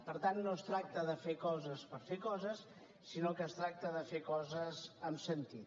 per tant no es tracta de fer coses per fer coses sinó que es tracta de fer coses amb sentit